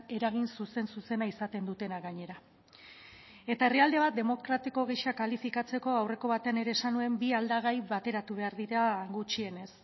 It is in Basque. eragin zuzen zuzena izaten dutena gainera eta herrialde bat demokratiko gisa kalifikatzeko aurreko batean ere esan nuen bi aldagai bateratu behar dira gutxienez